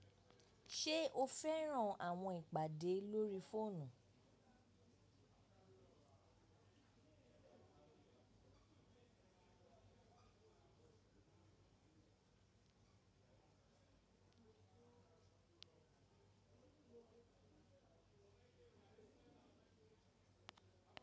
Ṣe o fẹran awọn ipade lori foonu?